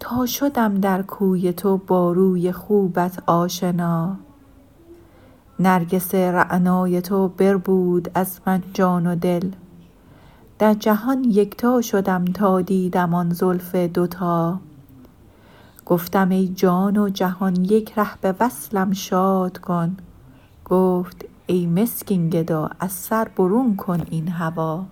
تا شدم در کوی تو با روی خوبت آشنا نرگس رعنای تو بربود از من جان و دل در جهان یکتا شدم تا دیدم آن زلف دوتا گفتم ای جان و جهان یک ره به وصلم شاد کن گفت ای مسکین گدا از سر برون کن این هوا